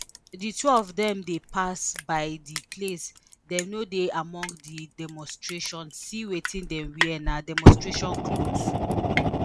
di two of dem dey pass by di place dem no dey among di demonstration see wetin dem wear na demonstration cloth